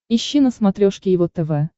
ищи на смотрешке его тв